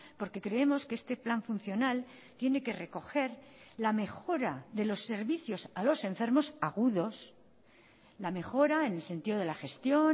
porque creemos que este plan funcional tiene que recoger la mejora de los servicios a los enfermos agudos la mejora en el sentido de la gestión